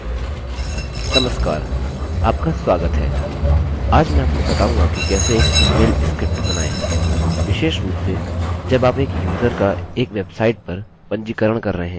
नमस्कार आपका स्वागत है आज मैं आपको बताऊँगा कि कैसे एक इमेलemail स्क्रिप्ट बनाएँ विशेष रूप से जब आप एक यूज़र का एक वेबसाइट पर पंजीकरण कर रहे हैं